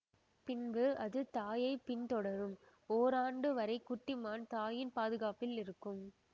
பின்பு அது தாயைப் பின்தொடரும் ஓராண்டு வரை குட்டி மான் தாயின் பாதுகாப்பில் இருக்கும்